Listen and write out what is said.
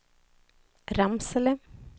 Ramsele